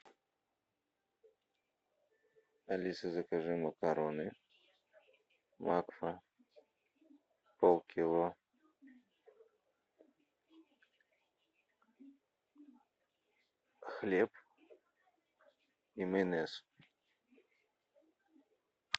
алиса закажи макароны макфа полкило хлеб и майонез